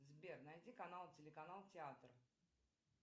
сбер найди канал телеканал театр